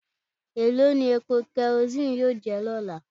Elo ni epo kerosene yoo jẹ ni ọla?